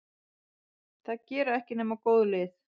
Það gera ekki nema góð lið.